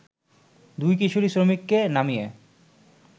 দুই কিশোরী শ্রমিককে নামিয়ে